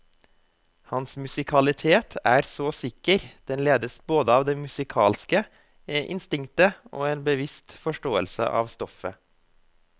Hans musikalitet er så sikker, den ledes både av det musikalske instinktet og en bevisst forståelse av stoffet.